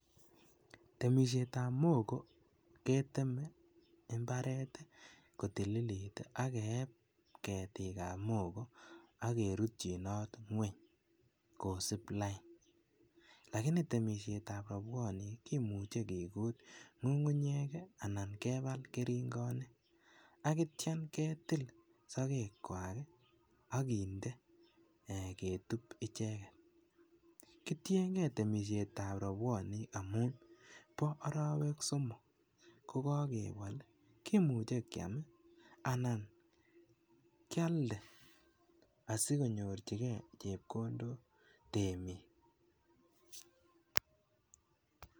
Temisietab mogo keteme imbaret kotililit ii ak keeb ketikab mogo ok kerutyinot ngweny kosib lain lakini temisietab robwonik kimuche kigut ngungunyeek ii anan kebal keringonik ok itio ketil sokekwak ii ak kindee ketub icheget kitiengee temisietab robwonik amun boo orowek somok kokokebol kimuche kiam ii anan kialdee asikonyorjigee chebkondook temik.